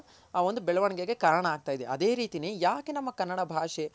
ಅ ಒಂದು ಬೆಳವಣಿಗೆಗೆ ಕಾರಣ ಆಗ್ತಾ ಇದೆ ಅದೆ ರೀತಿನೆ ಯಾಕೆ ನಮ್ಮ ಕನ್ನಡ ಭಾಷೆ.